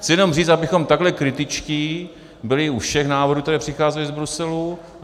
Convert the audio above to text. Chci jenom říct, abychom takhle kritičtí byli u všech návrhů, které přicházejí z Bruselu.